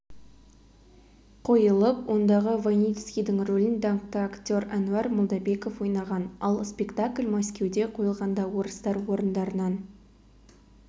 қойылып ондағы войницкийдің рөлін даңқты актер әнуар молдабеков ойнаған ал спектакль мәскеуде қойылғанда орыстар орындарынан